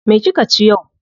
Me kika ci yau?